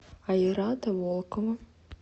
айрата волкова